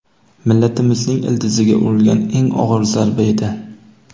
millatimizning ildiziga urilgan eng og‘ir zarba edi.